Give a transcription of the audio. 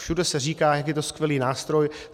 Všude se říká, jak je to skvělý nástroj.